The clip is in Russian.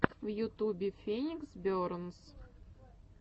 в ютубе феникс бернс